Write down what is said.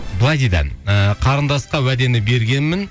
былай дейді ы қарындасқа уәдені бергенмін